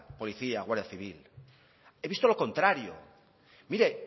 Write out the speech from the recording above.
policía guardia civil he visto lo contrario mire